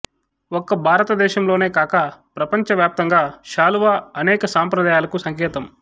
ఒక్క భారతదేశంలోనే కాక ప్రపంచవ్యాప్తంగా శాలువా అనేక సంప్రదాయాలకు సంకేతం